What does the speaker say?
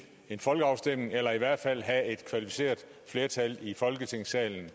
folkeafstemning eller i hvert fald have et kvalificeret flertal i folketingssalen